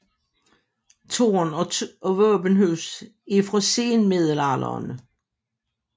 Tårn og våbenhus er fra senmiddelalderen